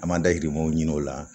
An m'an dahirimɛw ɲini o la